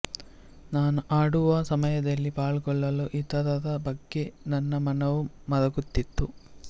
ನಾನು ಹಾಡುವ ಸಮಯದಲ್ಲಿ ಪಾಲ್ಗೊಳ್ಳಲು ಇತರರ ಬಗ್ಗೆ ನನ್ನ ಮನವು ಮರುಗುತ್ತಿತ್ತು